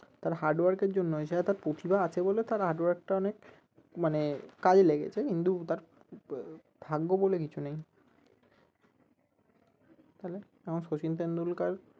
তার hardwork এর জন্যই সে হয়তো তার প্রতিভা আছে বলে তার hardwork টা অনেক মানে কাজে লেগেছে ভাগ্য বলে কিছু নেই তালে আমরা সচিন টেন্ডুলকার